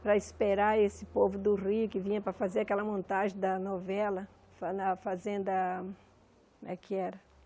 para esperar esse povo do Rio que vinha para fazer aquela montagem da novela fa na fazenda... como é que era?